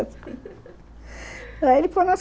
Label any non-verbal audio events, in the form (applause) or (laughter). (laughs) Aí ele (unintelligible)